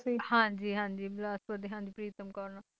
ਹਾਂ ਜੀ ਹਾਂ ਜੀ ਬਿਲਾਸਪੁਰ ਦੀ ਹਾਂ ਜੀ ਪ੍ਰੀਤਮ ਕੌਰ ਨਾਲ